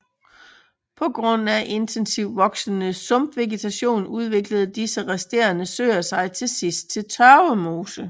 På grund af intensivt voksende sumpvegetation udviklede disse resterende søer sig til sidst til tørvmose